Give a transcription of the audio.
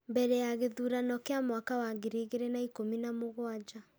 Mbere ya gĩthurano kĩa mwaka wa ngiri igĩrĩ na ikũmi nĩ mũgwanja ,